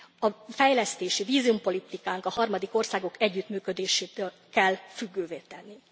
A fejlesztési és vízumpolitikánkat a harmadik országok együttműködésétől kell függővé tenni.